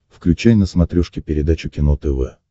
включай на смотрешке передачу кино тв